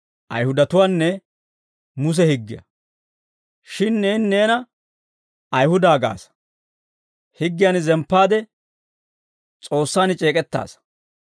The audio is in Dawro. Shin neeni neena Ayihuda gaasa; higgiyan zemppaade S'oossaan c'eek'ettaasa.